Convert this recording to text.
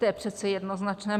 To je přece jednoznačné.